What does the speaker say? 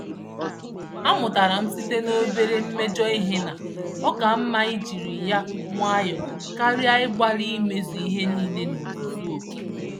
A mụtaram site nobere mmejọ ihe na, ọkà mmá ijiri ya nwayọọ karịa igbali imezu ihe nile n'ozuzu oké